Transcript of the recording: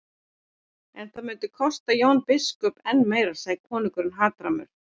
En það myndi kosta Jón biskup enn meira, sagði konungur hatrammur.